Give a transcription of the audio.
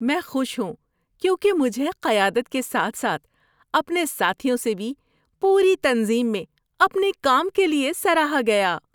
میں خوش ہوں کیونکہ مجھے قیادت کے ساتھ ساتھ اپنے ساتھیوں سے بھی پوری تنظیم میں اپنے کام کے لیے سراہا گیا۔